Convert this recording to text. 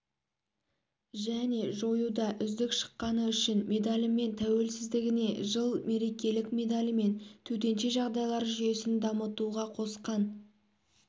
және жоюда үздік шыққаны үшін медалімен тәуелсіздігіне жыл мерекелік медалімен төтенше жағдайлар жүйесін дамытуға қосқан